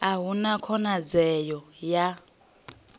a hu na khonadzeo ya